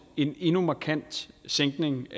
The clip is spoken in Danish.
endnu en markant sænkning